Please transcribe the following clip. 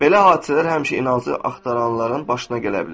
Belə hadisələr həmişə inancları axtaranların başına gələ bilər.